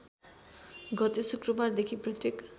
गते शुक्रबारदेखि प्रत्येक